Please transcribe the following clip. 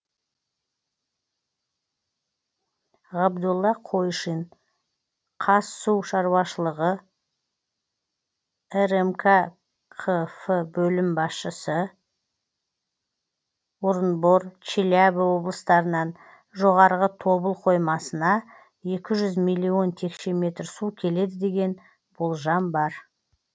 ғабдолла қойшин қазсушаруашылығы рмк қф бөлім басшысы орынбор челябі облыстарынан жоғарғы тобыл қоймасына екі жүз миллион текше метр су келеді деген болжам бар